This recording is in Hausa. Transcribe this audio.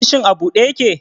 Ofishin a ɓuɗe ƴake?